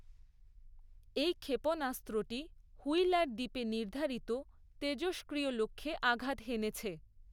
এই ক্ষেপনাস্ত্রটি হুইলার দ্বীপে নির্ধারিত তেজষ্ক্রিয় লক্ষ্যে আঘাত হেনেছে।